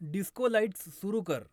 disco lights सुरू कर